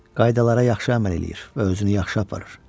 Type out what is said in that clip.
Qaydalara yaxşı əməl eləyir və özünü yaxşı aparır.